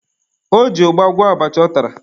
O ji ụgba gwọọ abacha ọ tara.